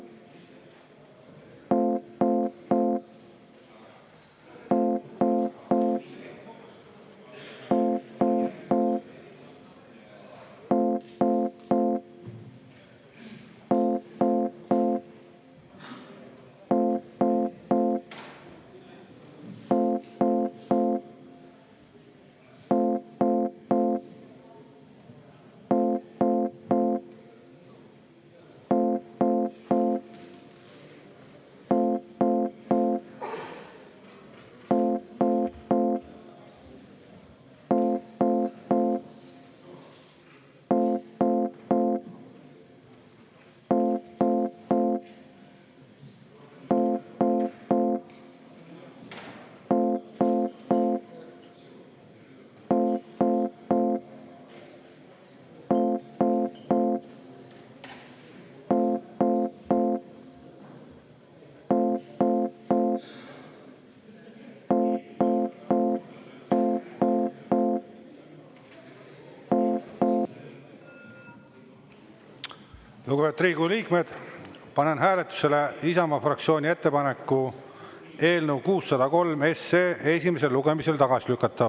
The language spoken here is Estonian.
Lugupeetud Riigikogu liikmed, panen hääletusele Isamaa fraktsiooni ettepaneku eelnõu 603 esimesel lugemisel tagasi lükata.